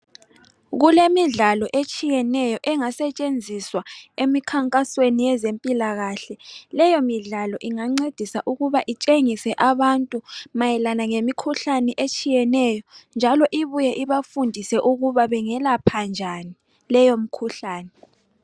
Kulemidlalo etshiyeneyo engasetshenziswa emkhankasweni yezempilakahle. Leyo midlalo ingancedisa ukuba itshengise abantu mayelana ngemikhuhlane etshiyeneyo njalo ibuye ibafundise ukuba bengelapha njani leyo mkhuhlane